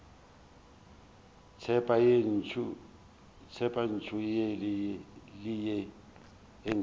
tseba ye ntsho le ye